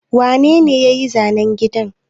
Wane ne ya yi zanen gidan?